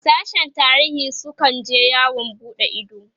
sashen tarihin su kan je yawon buɗe Ido